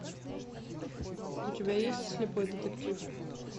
у тебя есть слепой детектив